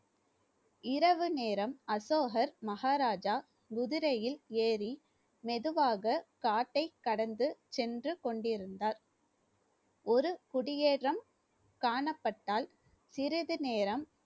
இரவு நேரம் அசோகர் மகாராஜா குதிரையில் ஏறி மெதுவாக காட்டைக் கடந்து சென்று கொண்டிருந்தார் ஒரு குடியேதும் காணப்பட்டால் சிறிது நேரம்